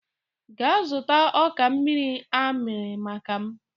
Gaa zụta ọka amịrị amị maka m!